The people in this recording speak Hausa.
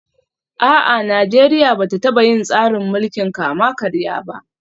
A'a, Najeriya ba ta taba yin tsarin mulkin kama karya ba